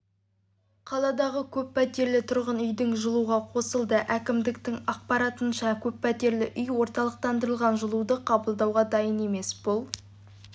қаладағы көппәтерлі тұрғын үйдің жылуға қосылды әкімдіктің ақпаратынша көппәтерлі үй орталықтандырылған жылуды қабылдауға дайын емес бұл